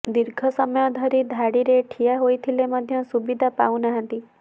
ଧର୍ଘ ସମୟ ଧରି ଧାଡ଼ିରେ ଠିଆ ହୋଇଥିଲେ ମଧ୍ୟ ସୁବିଧା ପାଉ ନାହାନ୍ତି